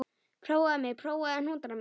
Prófaðu mig, prófaðu hnútana mína.